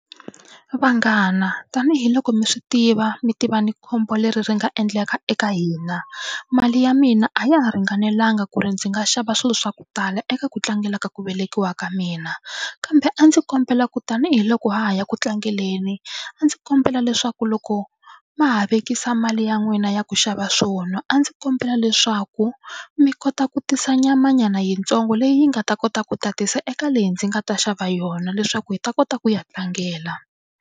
Vanghana tanihiloko mi swi tiva mi tiva na khombo leri ri nga endleka eka hina mali ya mina a ya ha ringanelanga ku ri ndzi nga xava swilo swa ku tala eka ku tlangela ku velekiwa ka mina, kambe a ndzi kombela ku tanihiloko ha ha ya ku tlangeleni a ndzi kombela leswaku loko ma ha vekisa mali ya n'wina ya ku xava swo nwa a ndzi kombela leswaku mi kota ku tisa nyamanyana yitsongo leyi nga ta kota ku tatisa eka leyi ndzi nga ta xava yona leswaku hi ta kota ku ya tlangela.